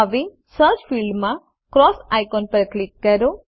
હવે સર્ચ ફિલ્ડમાં cross icon પર ક્લિક કરો